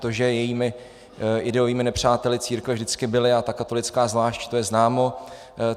To, že jejími ideovými nepřáteli církve vždycky byly a ta katolická zvlášť, to je známo.